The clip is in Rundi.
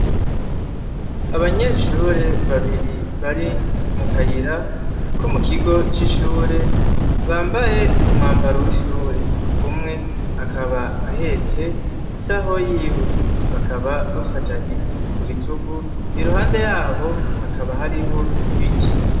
Abanyeshure babiri bari mu kayira ko mu kigo c'ishure bambaye umwambaro w'ishure, umwe akaba ahetse isaho yiwe bakaba bafatanye ku bitugu i ruhande yabo hakaba hariho ibiti.